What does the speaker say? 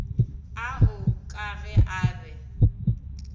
ao ka ge a be